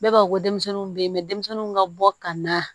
Bɛɛ b'a fɔ ko denmisɛnninw bɛ yen mɛ denmisɛnninw ka bɔ ka na